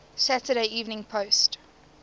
saturday evening post